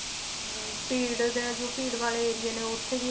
ਹਮ ਭੀੜ ਦੇ ਜੋ ਭੀੜ ਵਾਲੇ ਏਰੀਏ ਨੇ ਉੱਥੇ ਵੀ